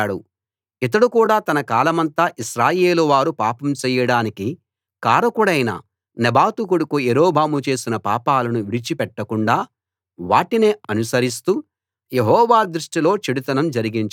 ఇతడు కూడా తన కాలమంతా ఇశ్రాయేలు వారు పాపం చెయ్యడానికి కారకుడైన నెబాతు కొడుకు యరొబాము చేసిన పాపాలను విడిచి పెట్టకుండా వాటినే అనుసరిస్తూ యెహోవా దృష్టిలో చెడుతనం జరిగించాడు